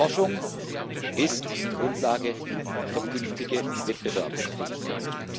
Forschung ist die Grundlage für künftige Wettbewerbsfähigkeit.